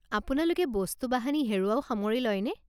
আপোনালোকে বস্তু বাহানি হেৰুওৱাও সামৰি লয়নে?